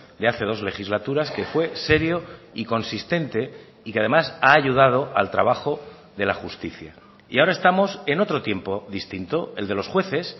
de hace dos legislaturas que fue serio y consistente y que además ha ayudado al trabajo de la justicia y ahora estamos en otro tiempo distinto el de los jueces